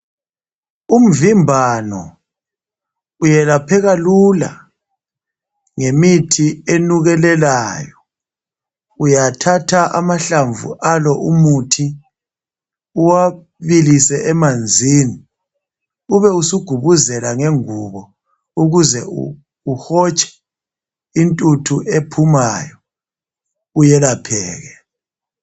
umvimbano uyelapheka lula ngemithi enukelelayo uyathatha amahlamvu omuthi uwabilise emanzini ubesugubuzela ngengubo ukuze uhotshe intuthu ephumayo uyelapheke